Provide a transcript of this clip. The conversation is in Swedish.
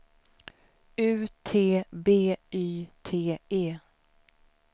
U T B Y T E